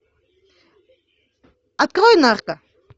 открой нарко